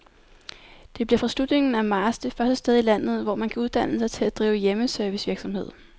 Det bliver fra slutningen af marts det første sted i landet, hvor man kan uddanne sig til at drive hjemmeservicevirksomhed.